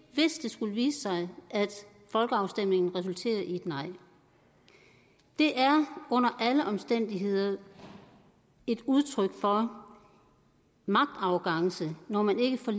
skulle vise sig at folkeafstemningen resulterer i et nej det er under alle omstændigheder et udtryk for magtarrogance når man ikke for